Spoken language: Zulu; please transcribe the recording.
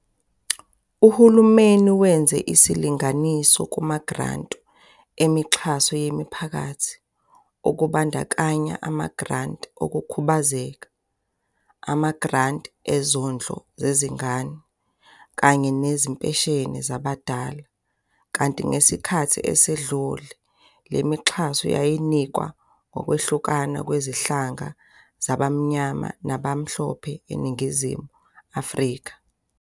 Uhulumeni wenza isilinganiso kumagranti emixhaso yemiphakathi, okubandakanya amagranti okukhubazeka, amagranti ezondlo zezingane, kanye nezimpesheni zabadala, kanti ngesikhathi esedlule, le mixhaso yayinikwa ngokwehlukana kwezinhlanga zabamnyama nabamhlophe eNingizimu Afrika.